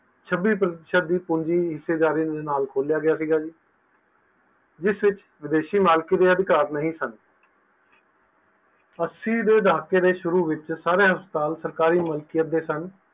ਛਬੀ ਪੂੰਜੀ ਹਿਸੇਦਾਰੀ ਦੇ ਨਾਲ ਖੋਲਿਆ ਗਿਆ ਸੀ ਜਿਸ ਵਿਚ ਵਿਦੇਸ਼ੀ ਮਾਲਕੀ ਦੇ ਅਧਿਕਾਰ ਨਹੀਂ ਸਨ ਅਸੀਂ ਦੇ ਦਹਾਕੇ ਦੇ ਸ਼ੁਰੂ ਵਿਚ ਸਾਰੇ ਹਸਪਤਾਲ ਸਰਕਾਰੀ ਮਲਕੀਅਤ ਦੇ ਸਨ